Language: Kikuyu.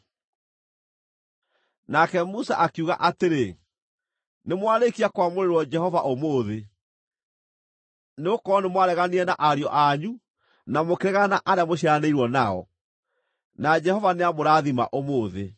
Nake Musa akiuga atĩrĩ, “Nĩmwarĩkia kwamũrĩrwo Jehova ũmũthĩ, nĩgũkorwo nĩmwareganire na ariũ anyu na mũkĩregana na arĩa mũciaranĩirwo nao, na Jehova nĩamũrathima ũmũthĩ.”